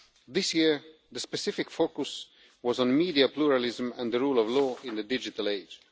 This year, the specific focus was on media pluralism and the rule of law in the digital age.